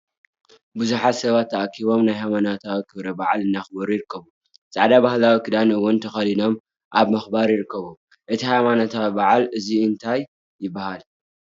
ብዙሓት ሰባት ተኣኪቦም ናይ ሃይማነታዊ ክብረ ብዓል እናክበሩ ይርከቡ። ፃዕዳ ባህላረዊ ክዳን እውን ተከዲኖም ኣብ ምክባር ይርከቡ። እቲ ሃይመነታዊ ብዓል እዙይ እንታይ ይባሃል?